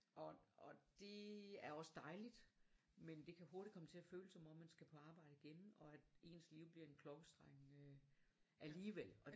Og det er også dejligt men det kan hurtigt komme til at føles som om man skal på arbejde igen og at ens liv bliver en klokkestreng øh alligevel